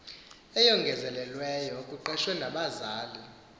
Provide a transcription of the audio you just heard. eyongezelelweyo kuqeqeshwe nabahlali